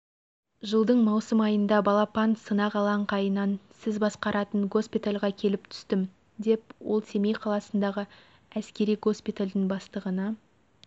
жылдың маусым айында балапан сынақ алаңқайынан сіз басқаратын госпитальге келіп түстім деп ол семей қаласындағы әскери госпитальдің бастығына